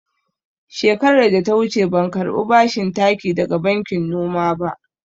Shekarar da ta wuce ban karɓi bashin taki daga bankin noma ba.